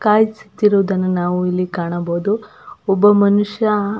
ಕಾಯಿಸುತಿರುವುದನ್ನು ನಾವು ಇಲ್ಲಿ ಕಾಣಬಹುದು ಒಬ್ಬ ಮನುಷ್ಯ.